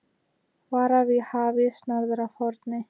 Varað við hafís norður af Horni